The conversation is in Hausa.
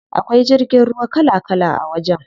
Akwai jirgin ruwa kala kala a wajen.